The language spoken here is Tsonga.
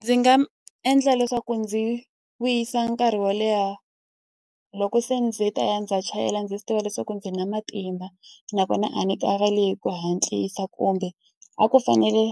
Ndzi nga endla leswaku ndzi wisa nkarhi wo leha loko se ndzi ta ya ndzi ya chayela ndzi swi tiva leswaku ndzi na matimba. Nakona a ni karhali hi ku hatlisa kumbe, a ku fanele